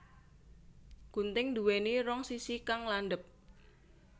Gunting nduwéni rong sisi kang landhep